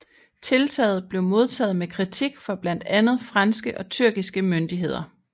Tiltaget blev modtaget med kritik fra blandt andet franske og tyrkiske myndigheder